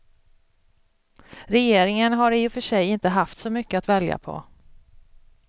Regeringen har i och för sig inte haft så mycket att välja på.